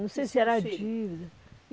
Não sei se era a dívida.